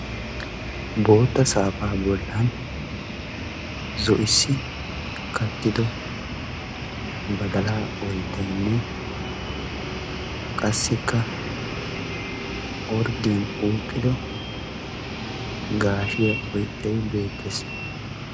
bootta saafaa bollan zo'issi kattido badalaa oyittayinne qassikka orddiyan uukkido gaashiya oyttay beettes.